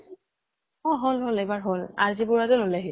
অ হল হল এবাৰ হল। ৰ জি বৰুৱা তে ললে সি।